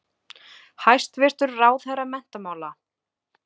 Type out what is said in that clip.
Hæstvirtur ráðherra menntamála.